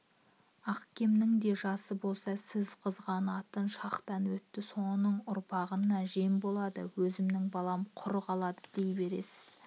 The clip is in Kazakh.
ахкемнің де жасы болса сіз қызғанатын шақтан өтті соның үрпағына жем болды өзімніңбалам құр қалдыдей беріңіз